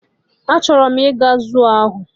Achọrọ m ije zuu ahụ